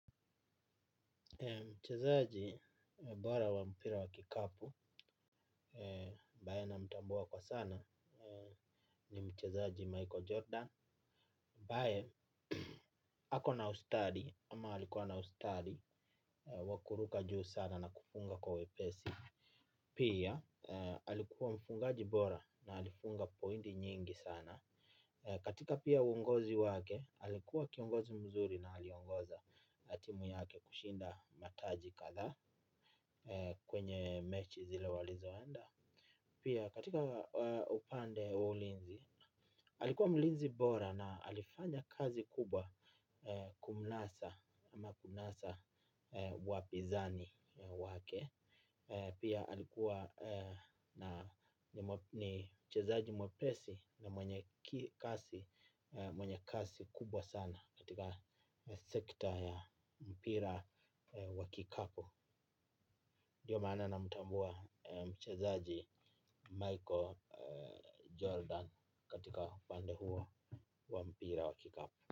Mchezaji bora wa mpira wa kikapu ambaye namtambua kwa sana ni mchezaji Michael Jordan ambaye ako na ustadi ama alikuwa na ustadi wa kuruka juu sana na kufunga kwa wepesi. Pia alikuwa mfungaji bora na alifunga pointi nyingi sana. Katika pia uongozi wake alikuwa kiongozi mzuri na aliongoza na timu yake kushinda mataji kathaa. Kwenye mechi zile walizoenda. Pia katika upande wa ulinzi alikuwa mlinzi bora na alifanya kazi kubwa kumunasa ama kunasa wapinzani wake. Pia alikuwa ni mchezaji mwepesi na mwenye kasi kubwa sana katika sekta ya mpira wa kikapu. Ndiyo maana namutambua mchazaji Michael Jordan katika upande huo wa mpira wa kikapu.